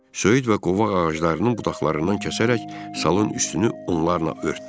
Söyüd və qovaq ağaclarının budaqlarından kəsərək salın üstünü onlarla örtdü.